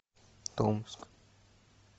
томск